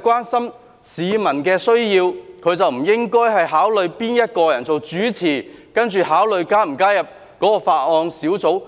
關心市民的需要，便不應該考慮誰是主席，才決定是否加入這個法案委員會。